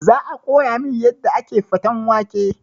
Za a koya min yadda ake faten wake